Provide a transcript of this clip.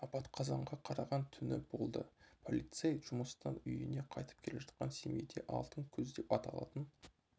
апат қазанға қараған түні болды полицей жұмыстан үйіне қайтып келе жатқан семейде алтын күз деп аталатын